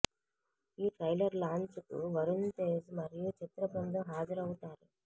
ఈ trailer launch కు వరుణ్ తేజ్ మరియు చిత్ర బృందం హాజరు అవ్వుతారు